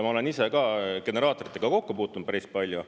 Ma olen ise ka generaatoritega kokku puutunud päris palju.